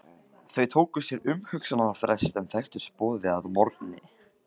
Þau tóku sér umhugsunarfrest en þekktust boðið að morgni.